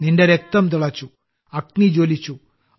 നിന്റെ രക്തം തിളച്ചു അഗ്നി ജ്വലിച്ചു